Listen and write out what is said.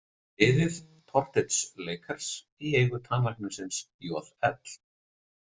Liðið, Portage Lakers, í eigu tannlæknisins J.L.